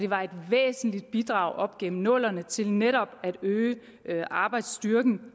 var et væsentligt bidrag op gennem nullerne til netop at øge arbejdsstyrken